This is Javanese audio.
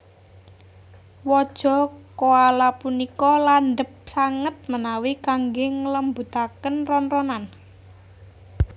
Waja koala punika landhep sanget menawi kanggé nglembutaken ron ronan